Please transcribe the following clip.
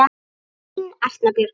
Þín Arna Björg.